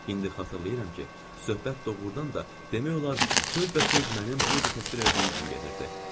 İndi xatırlayıram ki, söhbət doğrudan da demək olar söz və söz mənim burda təsvir elədiyim kimi gedirdi.